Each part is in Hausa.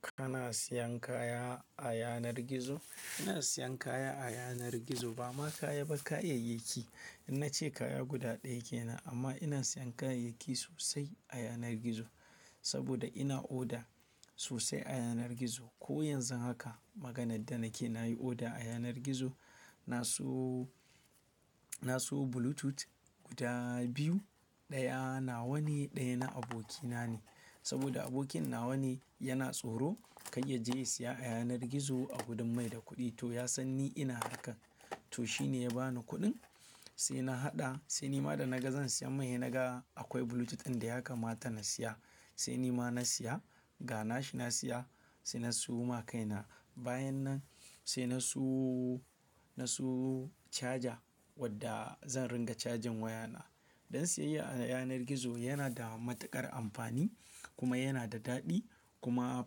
Kana siyan kaya a yanar gizo? Ina siyan kaya a yanar gizo, ba ma kaya ba kayayyaki. Na ce kaya guda ɗaya ke nan, amma ina siyan kayayyaki sosai a yanar gizo. Saboda ina oda sosai a yanar gizo. Ko yanzu haka maganar da nake nayi oda a yanar gizo. Na siyo, na siyo Bluetooth guda biyu, ɗaya na wane, ɗaya na abokina ne. Saboda abokinna wane yana tsoro kar ya je ya siya a yanar gizo a gudun mai da kuɗi to ya san ni ina haka. To shi ne ya bani kuɗin, sai na haɗa, sai ni ma da naga zan siya mai, naga akwai Bluetooth ɗin da ya kamata na siya. Sai ni ma na siya ga na shi na siya sai na siyo ma kaina. Bayan nan sai na siyo, na siyo caja wadda zan ringa cajin wayana. Dan siyayya a yanar gizo yana da matuƙar amfani kuma yana da daɗi kuma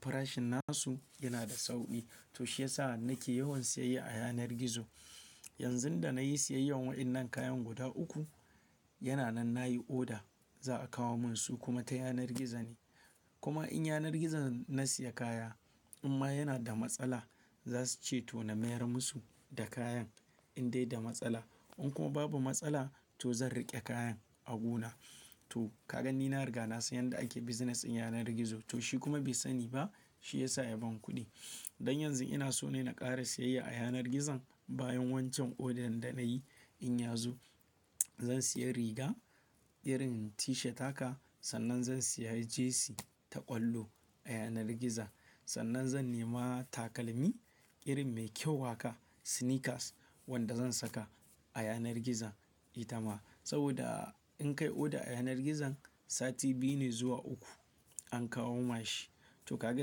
farashin nasu yana da sauƙi. To shi ya sa nake yawan siyayya a yanar gizo. Yanzu da nayi siyayyar waɗannan kayan guda uku, yana nan nayi oda za a kawo mun su kuma ta yanar gizo ne. Kuma in yanar gizon na siya kaya imma yana da matsala za su ce to na mayar musu da kayan in dai da matsala. In kuma babu matsala to zan riƙe kayan a guna. To ka gan ni na riga na san yadda ake business din yanar gizo. To shi kuma bai sani ba shi ya sa ya bani kuɗi. Don yanzu ina so ne na ƙare siyayya a yanar gizon bayan wancan odan da nayi. In yazo zan siya riga irin tishat haka sannan zan siya jesi ta ƙwallo a yanar gizo. Sannan zan nema takalmi irin mai kyau haka sneakers wanda zan saka a yanar gizo ita ma. Saboda in kai oda a yanar gizon sati biyu ne zuwa uku an kawo mashi. To ka ga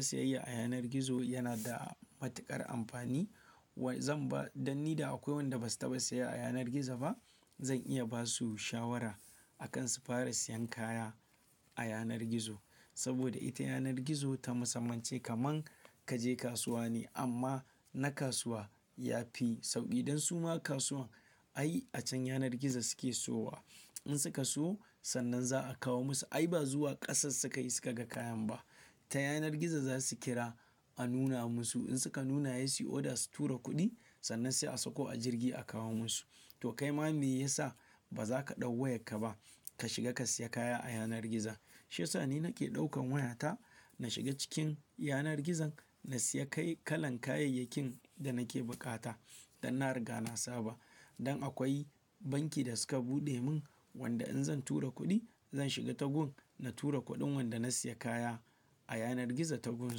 siyayya a yanar gizo yana da matuƙar amfani. Wa zan ba don ni da akwai wanda basu taɓa siya a yanar gizo ba. Zan iya basu shawara akan su fara siyan kaya a yanar gizo. Saboda ita yanar gizo ta musamman ce kamar ka je kasuwa ne amma na kasuwa ya fi sauƙi. Don su ma kasuwan ai a can yanar gizo suke so wa. In suka so sannan za a kawo musu. Ai ba zuwa ƙasar suka yi suka ga kayan ba. Ta yanar gizo za su kira a nuna musu. In suka nuna ya siyo oda su tura kuɗi sannan sai a sako a jirgi a kawo musu. To kai ma me ya sa ba za ka ɗau wayarka ba ka shiga ka siya kaya a yanar gizo. Shi ya sa ni nake ɗaukan wayata na shiga cikin yanar gizon na siya kai kalan kayayakin da nake bukata. Dan na riga na saba. Don akwai banki da suka buɗe mun wanda in zan tura kuɗi zan shiga tagun na tura kuɗin wanda na siya kaya a yanar gizo tagun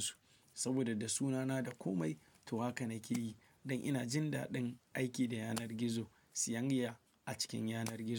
su. Saboda da sunana da komai to haka na ƙeyi. Don ina jin daɗin aiki da yanar gizo, siyayya a cikin yanar gizo.